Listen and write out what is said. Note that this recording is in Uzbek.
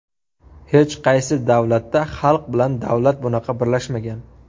Hech qaysi davlatda xalq bilan davlat bunaqa birlashmagan.